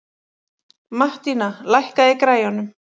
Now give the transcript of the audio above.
Mattína, lækkaðu í græjunum.